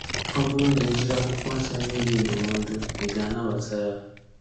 Ọ bụrụ na e jiri Akwụkwọ Nsọ nye gị ndụmọdụ, ị ga-anabata ya?